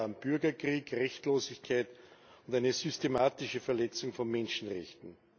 Die Folge waren Bürgerkrieg, Rechtlosigkeit und eine systematische Verletzung von Menschenrechten.